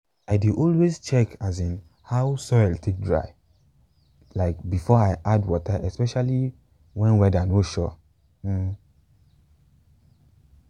i dey always check asin how the soil take dry um before i add water especially when weather no sure. um